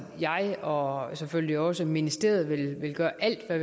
jeg og selvfølgelig også ministeriet vil gøre alt hvad